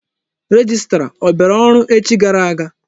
Rejistra ọ bịara ọrụ echi gara aga?